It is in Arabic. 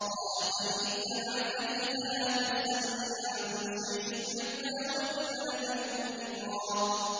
قَالَ فَإِنِ اتَّبَعْتَنِي فَلَا تَسْأَلْنِي عَن شَيْءٍ حَتَّىٰ أُحْدِثَ لَكَ مِنْهُ ذِكْرًا